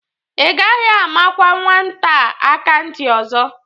Ị gaghị amakwa nwata a aka ntị ọzọ!